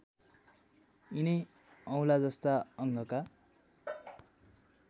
यिनै औँलाजस्ता अङ्गका